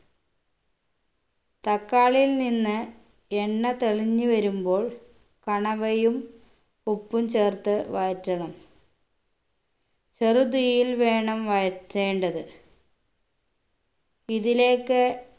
തക്കാളിയിൽ നിന്ന് എണ്ണ തെളിഞ്ഞ് വരുമ്പോൾ കണവയും ഉപ്പും ചേർത്ത് വഴറ്റണം ചെറു തീയിൽ വേണം വഴറ്റേണ്ടത്‌ ഇതിലേക്ക്